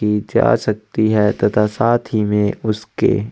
की जा सकती है तथा साथ ही में उसके --